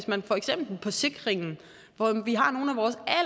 man for eksempel på sikringen hvor vi